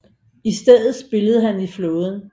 I stedet spillede han i flåden